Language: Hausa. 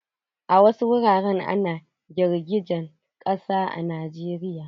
A wasu wuraren ana girgijen ƙasa a Najeriya.